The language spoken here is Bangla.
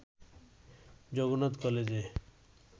জগন্নাথ কলেজে